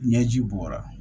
Ɲɛji bɔra